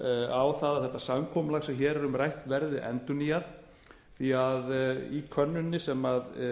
á það að þetta samkomulag sem hér er um rætt verði endurnýjað því að í könnuninni sem